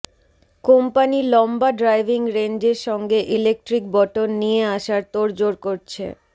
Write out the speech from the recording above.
company লম্বা driving রেঞ্জের সঙ্গে ইলেকট্রিক বটন নিয়ে আসার তোড়জোড় করছে